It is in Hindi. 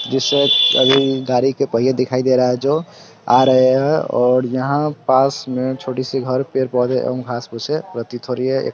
जिसे अभी गाड़ी के पहिये दिखाई दे रहा है जो आ रहे है और यहाँ पास में छोटी सी घर पेड़-पौधे एवं घास-फूसें प्रतीत हो रही है।